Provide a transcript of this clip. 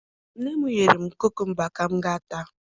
Nne m nyere m kukumba m ga-ata